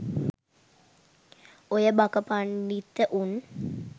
ඔය බක පණ්ඩිත උන්